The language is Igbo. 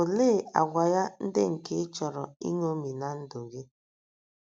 Olee àgwà ya ndị nke ị chọrọ iṅomi ná ndụ gị?